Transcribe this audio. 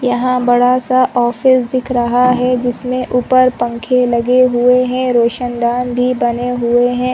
यहां बड़ा सा ऑफिस दिख रहा है जिसमें ऊपर पंखे लगे हुए हैं रोशनदान भी बने हुए हैं।